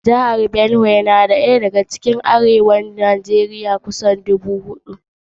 Jihar Benue dai na daya daga cikin jihohin Arewa ta Tsakiya a Najeriya mai yawan jama'a kusan 4,253,641.